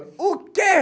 O quê?